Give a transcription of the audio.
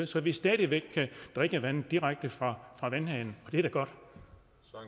så vi stadig væk kan drikke vandet direkte fra vandhanen